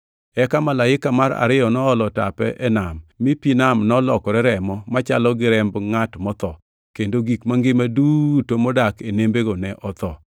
Eka Malaika mar ariyo noolo tape e nam mi pi nam nolokore remo machalo gi remb ngʼat motho, kendo gik mangima duto modak e nembego ne otho.